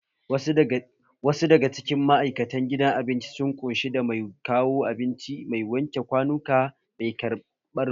Wasu daga cikin ma'aikatan gidan abinci sun ƙunshi da mai kawo abinci, mai wanke kwanuka, mai ƙarɓar kuɗi